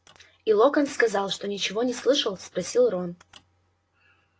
и локонс сказал что ничего не слышал спросил рон